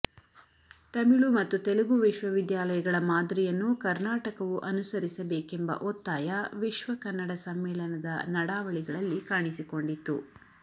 ತಮಿಳು ಮತ್ತು ತೆಲುಗು ವಿಶ್ವವಿದ್ಯಾಲಯಗಳ ಮಾದರಿಯನ್ನು ಕರ್ನಾಟಕವು ಅನುಸರಿಸ ಬೇಕೆಂಬ ಒತ್ತಾಯ ವಿಶ್ವಕನ್ನಡ ಸಮ್ಮೇಳನದ ನಡಾವಳಿಗಳಲ್ಲಿ ಕಾಣಿಸಿಕೊಂಡಿತ್ತು